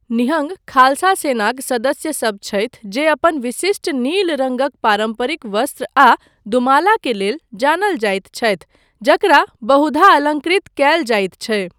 निहंग खालसा सेनाक सदस्यसब छथि जे अपन विशिष्ट नील रङ्गक पारम्परिक वस्त्र आ दुमाला के लेल जानल जाइत छथि, जकरा बहुधा अलङ्कृत कयल जाइत छै।